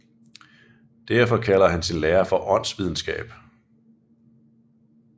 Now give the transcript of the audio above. Derfor kalder han sin lære for åndsvidenskab